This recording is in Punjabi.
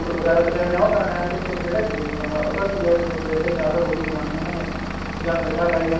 fruit ਵਗੈਰਾ ਲਿਆਣੇ ਏ ਉਹ ਤੇ ਜਿਹੜੇ ਗਰੀਬ ਉਹਦਾ ਕੀ ਏ ਜਿਵੇਂ ਸਵੇਰ ਸ਼ਾਮ ਤਾਂ ਰੋਟੀ ਓ ਖਾਣੀ ਏ ਉਹਨਾ ਨੇ ਜਾ ਮਿੱਠਾ ਖਾਈ ਜਾਣਾ